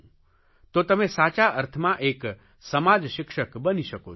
તો તમે સાચા અર્થમાં એક સમાજશિક્ષક બની શકો છો